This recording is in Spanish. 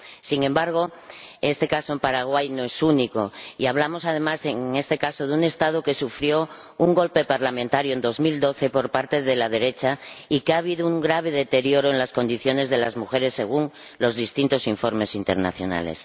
Sin embargo, este caso en Paraguay no es único, y hablamos, además, en este caso, de un Estado que sufrió un golpe parlamentario en 2012 por parte de la derecha y que ha experimentado un grave deterioro en las condiciones de las mujeres, según los distintos informes internacionales.